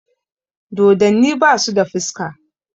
Dodonni basu da fuska